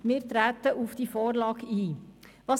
Wir treten auf diese Vorlage ein.